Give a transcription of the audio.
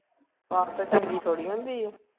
ਪੱਸ ਚੰਗੀ ਥੋੜ੍ਹੀ ਹੁੰਦੀ ਹੈ।